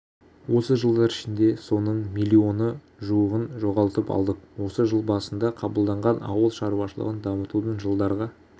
осы жылдар ішінде соның млн-ы жуығын жоғалтып алдық осы жыл басында қабылданған ауыл шаруашылығын дамытудың жылдарға